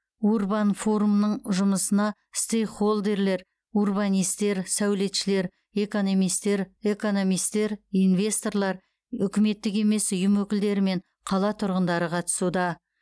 урбан форумның жұмысына стейкхолдерлер урбанистер сәулетшілер экономистер экономистер инвесторлар үкіметтік емес ұйым өкілдері мен қала тұрғындары қатысуда